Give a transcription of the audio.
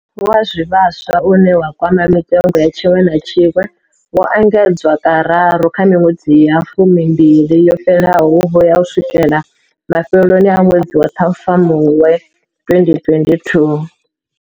Wa zwivhaswa, une wa kwama mitengo ya tshiṅwe na tshiṅwe, wo engedzwa kararu kha miṅwedzi ya fumimbili yo fhelaho u vhuya u swikela mafheloni a ṅwedzi wa Ṱhafamuhwe 2022.